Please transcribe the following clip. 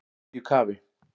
Í miðju kafi